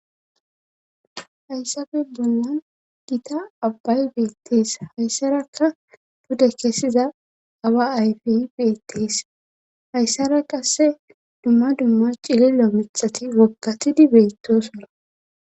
Hayssafe bonnan gita abbay beettees hayssarakka bude kessiza awa ayfey beettees hayssara qasse dumma dumma cililo mithati wokkathidi beetto sora..